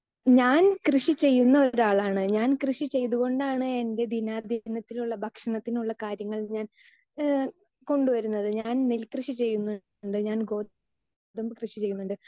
speaker 2 ഞാൻ കൃഷി ചെയ്യുന്ന ഒരാളാണ് ഞാൻ കൃഷി ചെയ്തുകൊണ്ടാണ് എൻ്റെ ദിനധാന്യത്തിനുള്ള ഭക്ഷണത്തിനുള്ള കാര്യങ്ങൾ ഞാൻ ഏഹ് കൊണ്ടുവരുന്നത് ഞാൻ നെൽകൃഷി ചെയ്യുന്നുണ്ട് ഞാൻ ഗോതമ്പ് കൃഷി ചെയ്യുന്നുണ്ട്